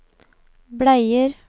bleier